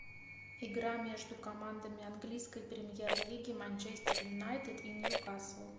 игра между командами английской премьер лиги манчестер юнайтед и ньюкасл